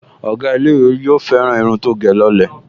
Ọ̀gá ilé-ìwé yóò fẹ́ràn irun tó gẹ̀ lọ lẹ̀